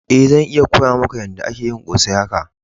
Eh, zan iya koya maka yada ake yin kose haka.